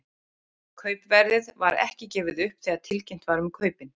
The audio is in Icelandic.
Kaupverðið var ekki gefið upp þegar tilkynnt var um kaupin.